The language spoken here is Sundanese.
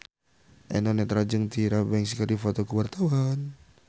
Eno Netral jeung Tyra Banks keur dipoto ku wartawan